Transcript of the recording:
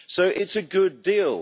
So it is a good deal.